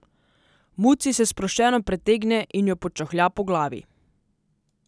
Muci se sproščeno pretegne in jo počohlja po glavi.